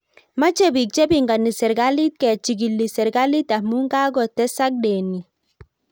Mache bik chepingani serikalit kechigil serikalit amu kagotesak denit